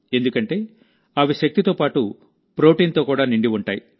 ఎందుకంటే అవి శక్తితో పాటు ప్రోటీన్తో నిండి ఉంటాయి